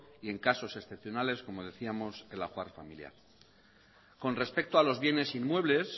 y en casos excepcionales como decíamos el ajuar familiar con respecto a los bienes inmuebles